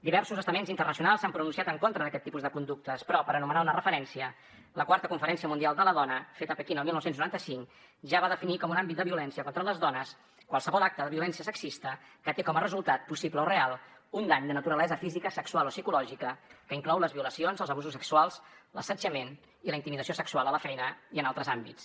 diversos estaments internacionals s’han pronunciat en contra d’aquest tipus de conductes però per anomenar una referència la iv conferència mundial de la dona feta a pequín el dinou noranta cinc ja va definir com un àmbit de violència contra les dones qualsevol acte de violència sexista que té com a resultat possible o real un dany de naturalesa física sexual o psicològica que inclou les violacions els abusos sexuals l’assetjament i la intimidació sexual a la feina i en altres àmbits